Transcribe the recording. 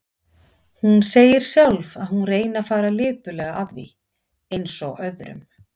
Hún segir sjálf að hún reyni að fara lipurlega að því, eins og öðrum.